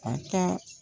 A ka